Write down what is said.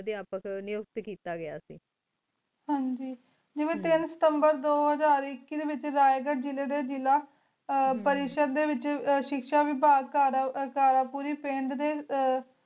ਹਨ ਜੀ ਤੇੰ ਸ੍ਤੁਮ੍ਬੇਰ ਦੋ ਹਜ਼ਾਰ ਏਕੀ ਡੀ ਵੇਚ ਜ਼ਹੇਰ ਆ ਜ਼ਿਲਾ ਪੇਰੇਸ਼ਟ ਡੀ ਵੇਚ ਪਰੀਸ਼ਾ ਡੀ ਵੇਚ ਸ਼ੀਸ਼ਾ ਵੇ ਪੂਰੀ ਪੰਡ ਡੀ ਵੇਚ